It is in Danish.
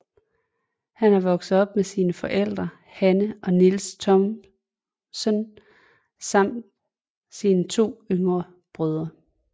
Han er vokset op med sine forældre Hanne og Niels Thomsen samt sine to yngre brødre